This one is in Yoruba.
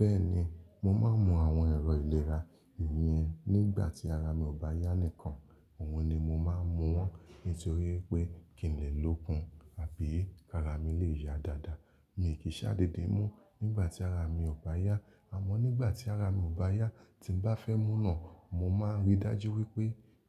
Bẹ́ẹ̀ni, mo máa ń mu àwọn ẹ̀rọ ìlera yẹn nígbà tí ara mi ò bá yá nìkan. Òun ni mo máa ń mu wọ́n nítorí pé kìí lè lókun àbí kara mi lè ya dáadáa. Mi ò kìn ṣáà dede mú nígbà tí ara mi ò bá yá. Àmọ́ nígbà tí ara mi ò bá yá tí bá fẹ́ mú náà, mo máa ń rí dájú wípé